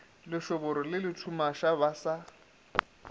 lešoboro le lethumaša ba sa